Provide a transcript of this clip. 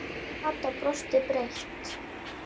Kata brosti breitt.